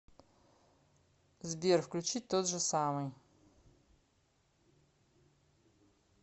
сбер включить тот же самый